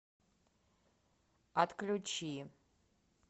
отключи